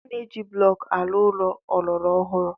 A na-eji blọk arụ ụlọ ọlọrọ ọhụrụ.